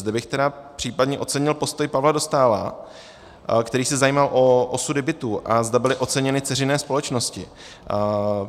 Zde bych tedy případně ocenil postoj Pavla Dostála, který se zajímal o osudy bytů, a zda byly oceněny dceřiné společnosti.